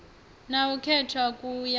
na u khetha ku ya